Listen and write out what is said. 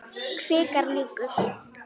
Kvikar líkur.